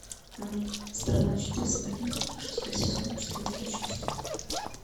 мульт страна чудес смертников шестой сезон четвертая часть